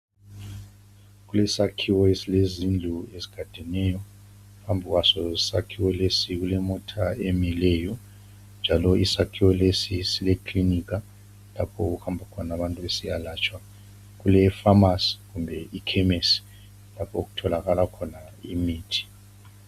Kulesakhiwo esilezindlu ezigadeneyo phambi kwaso sakhiwo, lesi kulemota emileyo njalo isikhawo lesi sile kilinika lapho okuhamba khona abantu besiyalatshwa. Kule famasi kumbe ikhemisi lapho okutholakala khona imithi.